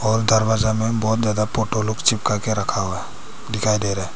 और दरवाजा में बहुत ज्यादा फोटो लोग चिपका के रखा हुआ है दिखाई दे रहा है।